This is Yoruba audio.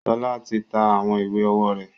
Ṣọlá ti ta àwọn ìwé ọwọ́ rẹ̀.